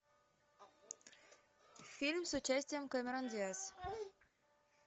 фильм с участием кэмерон диаз